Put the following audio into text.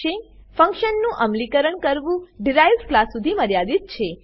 ફંક્શનનું અમલીકરણ કરવું ડિરાઇવ્ડ ક્લાસ ડીરાઇવ્ડ ક્લાસ સુધી મર્યાદિત છે